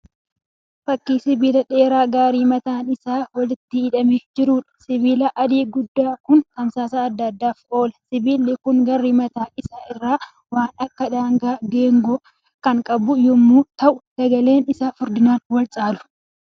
Fakkii sibiila dheeraa garrii mataa isaa walitti hidhamee jiruudha. Sibiilli adii guddaan kun tamsaasa adda addaaf oola. Sibiilli kun gara mataa isaa irraa waan akka danaa geengoo kan qabu yemmuu ta'u dameeleen isaa furdinaan wal caalu.